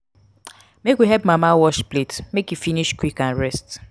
make we help mama wash plates make e finish quick and rest.